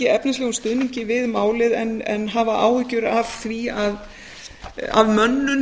efnislegum stuðningi við málið en hafa áhyggjur af mönnun